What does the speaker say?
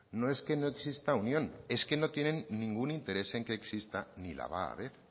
no es que no exista unión es que no tienen ningún interés en que exista ni la va a haber